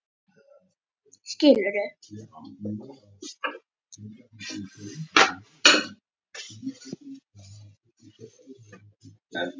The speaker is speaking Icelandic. Brettum nú upp ermar.